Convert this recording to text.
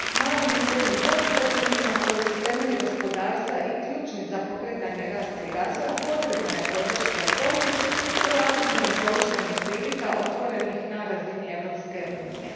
Malim i srednjim poduzetnicima koji su temelj gospodarstva i ključni za pokretanje rasta i razvoja potrebna je podrška i pomoć u aktivnom korištenju prilika otvorenih na razini Europske unije.